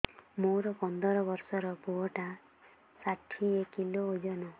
ମୋର ପନ୍ଦର ଵର୍ଷର ପୁଅ ଟା ଷାଠିଏ କିଲୋ ଅଜନ